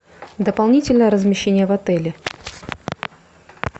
дополнительное размещение в отеле